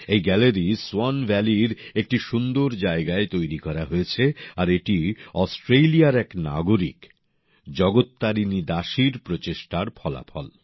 এই gallery swan ভ্যালির একটি সুন্দর জায়গায় তৈরি করা হয়েছে আর এটি অস্ট্রেলিয়ার এক নাগরিক জগত্তারিণী দাসীর প্রচেষ্টার ফলাফল